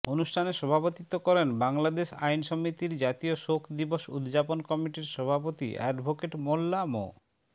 অনুষ্ঠানে সভাপতিত্ব করেন বাংলাদেশ আইন সমিতির জাতীয় শোক দিবস উদযাপন কমিটির সভাপতি অ্যাডভোকেট মোল্লা মো